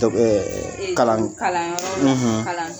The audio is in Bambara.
Dɔnk ɛɛɛ e kalan kalan yɔrɔ la kalano la